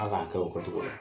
Hal'a dɔw kɛcogo la.